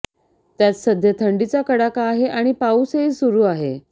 त्यात सध्या थंडीचा कडाका आहे आणि पाऊसही सुरूआहे